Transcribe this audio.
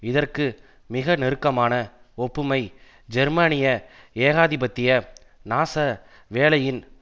இதற்கு மிக நெருக்கமான ஒப்புமை ஜெர்மானிய ஏகாதிபத்திய நாச வேலையின்